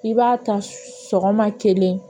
I b'a ta sɔgɔma kelen